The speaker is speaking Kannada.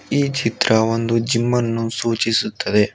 ಈ ಚಿತ್ರ ಒಂದು ಜಿಮ್ಮನ್ನು ಸೂಚಿಸುತ್ತದೆ.